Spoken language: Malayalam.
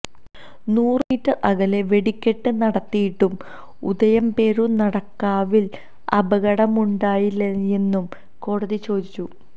നൂറു മീറ്റർ അകലെ വെടിക്കെട്ട് നടത്തിയിട്ടും ഉദയംപേരൂർ നടക്കാവിൽ അപകടമുണ്ടായില്ലേയെന്നും കോടതി ചോദിച്ചു